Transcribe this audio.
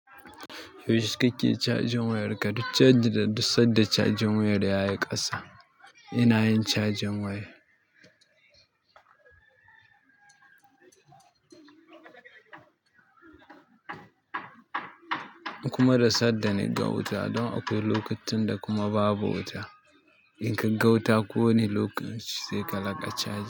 Yaushe kake cajin wayar ka, duk caji da duk sanda cajin wayar yayi ƙasa. Ina yin cajin waya. Kuma da sadda na ga wuta don akwai lokacinda kuma babu wuta. In ka ga wuta kowane lokaci sai ka laƙa caji.